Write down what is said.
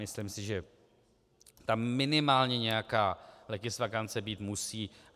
Myslím si, že tam minimálně nějaká legisvakance být musí.